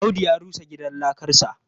Audu ya rusa gidan lakarsa.